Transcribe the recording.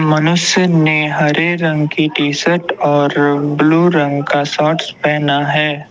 मनुष्य ने हरे रंग की टीशर्ट और ब्लू रंग का शॉर्ट्स पहना है।